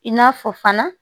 I n'a fɔ fana